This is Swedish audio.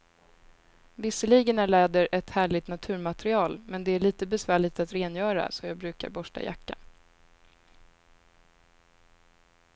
Visserligen är läder ett härligt naturmaterial, men det är lite besvärligt att rengöra, så jag brukar borsta jackan.